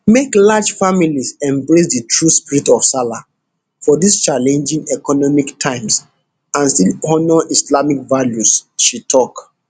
make large families embrace di true spirit of sallah for dis challenging economic times and still honour islamic values she tok